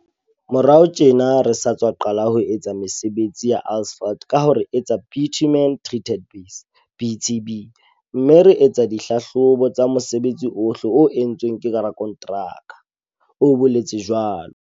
Morao tjena re sa tswa qala ho etsa mesebetsi ya asphalt ka ho re etsa bitumen treated base, BTB, mme re etsa di hlahlobo tsa mosebetsi ohle o entsweng ke rakonteraka, o boletse jwalo.